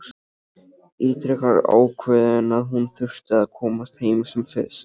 Ítrekar ákveðin að hún þurfi að komast heim sem fyrst.